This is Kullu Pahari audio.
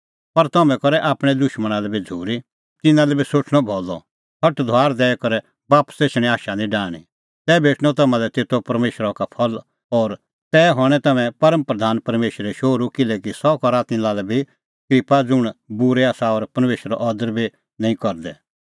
पर तम्हैं करै आपणैं दुशमणा लै बी झ़ूरी तिन्नां लै बी सोठणअ भलअ सटधुआर दैई करै बापस एछणें आशा निं डाहणीं तै भेटणअ तम्हां तेतो परमेशरा का फल और तै हणैं तम्हैं परम प्रधान परमेशरे शोहरू किल्हैकि सह करा तिन्नां लै बी क्रिप्पा ज़ुंण बूरै आसा और परमेशरो अदर बी निं करदै